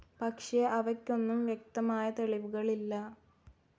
പക്ഷെ അവയ്ക്കൊന്നും വ്യക്തമായ തെളിവുകളില്ല.